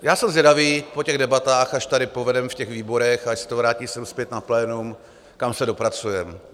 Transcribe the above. Já jsem zvědavý po těch debatách, až tady povedeme v těch výborech, až se to vrátí sem zpět na plénum, kam se dopracujeme.